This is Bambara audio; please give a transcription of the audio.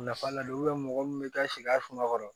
Nafa len do mɔgɔ min bɛ taa si a suma kɔrɔ